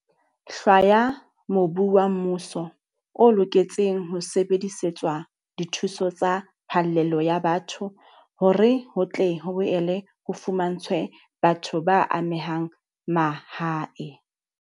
Hlwaya mobu wa mmuso o loketseng ho sebedisetswa dithuso tsa phallelo ya batho hore ho tle ho boele ho fumantshwe batho ba amehang mahae.